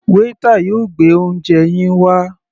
Waiter yóò gbé oúnje yín wá.